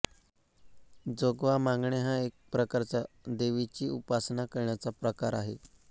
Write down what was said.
जोगवा मागणे हा एक प्रकारचा देवीची उपासना करण्याचा प्रकार आहे